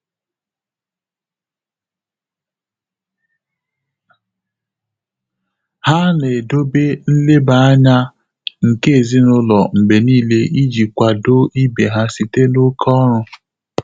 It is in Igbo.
Há nà-édòbé nlèbá ányá nké èzínụ́lọ́ mgbè níílé ìjí kwàdò íbé há sìté n’óké ọ́rụ́.